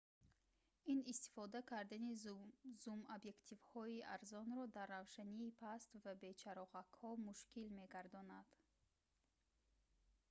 ин истифода кардани зум-объективҳои арзонро дар равшании паст ва бе чароғакҳо мушкил мегардонад